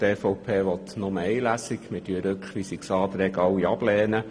Wir lehnen sämtliche Rückweisungsanträge ab.